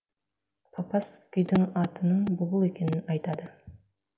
папас күйдің атының бұлбұл екенін айтады